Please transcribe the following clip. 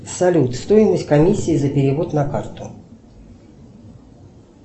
салют стоимость комиссии за перевод на карту